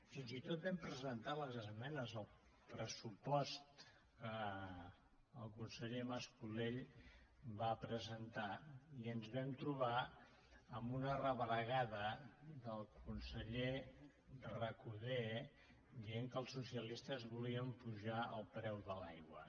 fins i tot vam presentar les esmenes al pressupost que el conseller mas colell va presentar i ens vam trobar amb una rebregada del conseller recoder que deia que els socialistes volíem apujar el preu de l’aigua